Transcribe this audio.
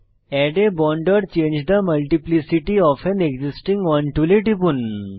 add a bond or change the multiplicity of an existing one tool টিপুন